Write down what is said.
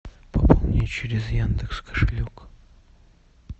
пополнить через яндекс кошелек